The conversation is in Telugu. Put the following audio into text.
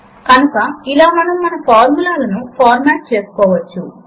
మనము ఫార్ములా ఎడిటర్ విండో లో ఫార్ములా ను సూటిగా వ్రాయవచ్చు